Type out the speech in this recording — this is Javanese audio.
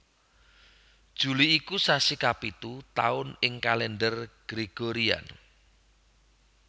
Juli iku sasi kapitu taun ing Kalendher Gregorian